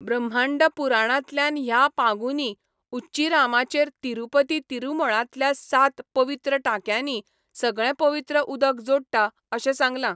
ब्रह्मांडपुराणांतल्यान ह्या पांगुनी उच्चीरामाचेर तिरुपती तिरुमळांतल्या सात पवित्र टांक्यांनी सगळें पवित्र उदक जोडटा अशें सांगलां.